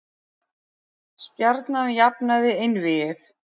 Stjarnan jafnaði einvígið